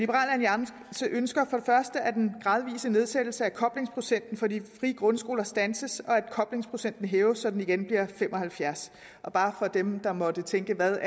alliance ønsker for første at den gradvise nedsættelse af koblingsprocenten for de frie grundskoler standses og at koblingsprocenten hæves så den igen bliver fem og halvfjerds bare for dem der måtte tænke hvad